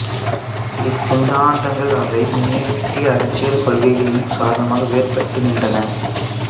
இச்சிந்தாந்தங்கள் அவை முன்னிறுத்திய அரசியல் கொள்கைகளின் காரணமாக வேறுபட்டு நின்றன